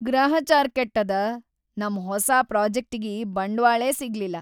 ಗ್ರಹಚಾರ್ ಕೆಟ್ಟದ, ನಮ್ ಹೊಸಾ ಪ್ರೋಜೆಕ್ಟಿಗಿ ಬಂಡ್ವಾಳೇ ಸಿಗ್ಲಿಲ್ಲ.